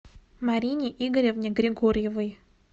марине игоревне григорьевой